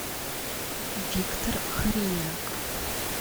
виктор хориняк